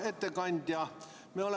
Hea ettekandja!